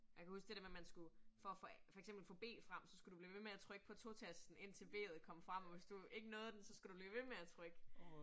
Jeg kan huske det der med man skulle for at for eksempel få B frem så skulle du blive ved med at trykke på 2 tasten indtil B'et kom frem, og hvis du ikke nåede den, så skulle du blive ved med at trykke